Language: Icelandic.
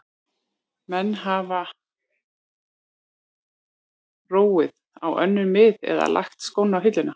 Menn hafa róið á önnur mið eða lagt skóna á hilluna.